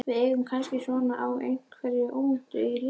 Við eigum kannski von á einhverju óvæntu í lífinu núna?